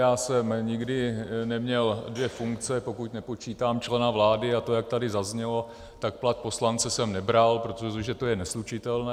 Já jsem nikdy neměl dvě funkce, pokud nepočítám člena vlády, a to, jak tady zaznělo, tak plat poslance jsem nebral, protože to je neslučitelné.